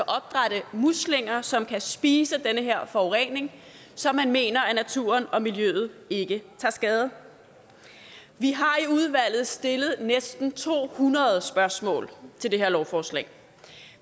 opdrætte muslinger som kan spise den her forurening så man mener at naturen og miljøet ikke tager skade vi har i udvalget stillet næsten to hundrede spørgsmål til det her lovforslag